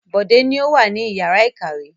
Bọ̀dé ni ó wà ní ìyàrá-ìkàwé.